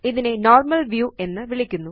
ഇതിനെ normal view എന്ന് വിളിക്കുന്നു